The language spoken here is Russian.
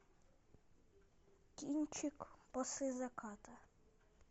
кинчик после заката